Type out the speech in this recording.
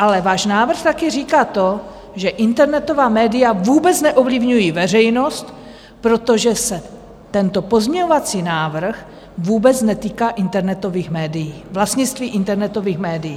Ale váš návrh taky říká to, že internetová média vůbec neovlivňují veřejnost, protože se tento pozměňovací návrh vůbec netýká internetových médií, vlastnictví internetových médií.